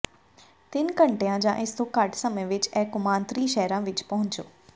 ਤਿੰਨ ਘੰਟਿਆਂ ਜਾਂ ਇਸ ਤੋਂ ਘੱਟ ਸਮੇਂ ਵਿੱਚ ਇਹ ਕੌਮਾਂਤਰੀ ਸ਼ਹਿਰਾਂ ਵਿੱਚ ਪਹੁੰਚੋ